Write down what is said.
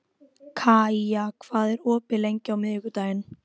Kaía, hvað er opið lengi á miðvikudaginn?